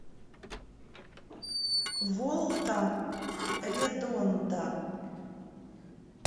волта редонда